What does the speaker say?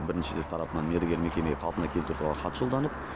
бірінші тарапынан мердігер мекемеге қалпына келтіру туралы хат жолданып